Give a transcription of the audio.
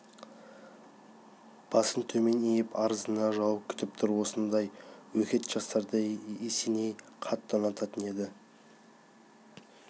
басын төмен иіп арызына жауап күтіп тұр осындай өжет жастарды есеней қатты ұнататын еді